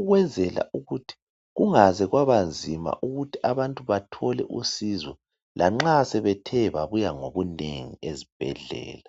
ukwenzela ukuthi kungaze kwabanzima ukuthi abantu bathole usizo. Lanxa sebethe babuya ngobunengi ezibhedlela.